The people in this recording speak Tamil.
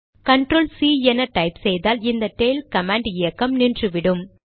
கண்ட்ரோல் சி என டைப் செய்தால் இந்த டெய்ல் கமாண்ட் இயக்கம் நின்றுவிடும்